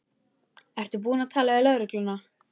Ertu búin að tala við lögregluna?